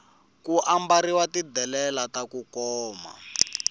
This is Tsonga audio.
ku ambarhiwa ti delela taku koma